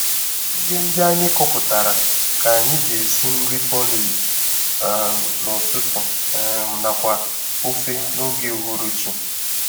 Ihe ndị anyị kọpụtara ka anyị ji esi nri porridge um n'ụtụtụ um nakwa ofe n'oge uhuruchi